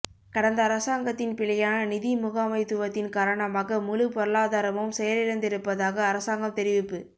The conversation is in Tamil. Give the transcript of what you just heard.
கடந்த அரசாங்கத்தின் பிழையான நிதி முகாமைத்துவத்தின் காரணமாக முழு பொருளாதாரமும் செயலிழந்திருப்பதாக அரசாங்கம் தெரிவிப்பு